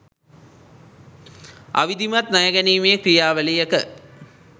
අවිධිමත් ණය ගැනීමේ ක්‍රියාවලියක